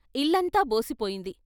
ఇల్లంతా బోసిపోయింది.